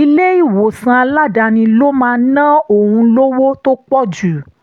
ilé-ìwòsàn aládàáni ló máa ná òun lówó tó pọ̀ jù